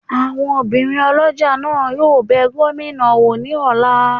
Awọn òbirin olójá náà yóò bẹ gomina wọ ni ọla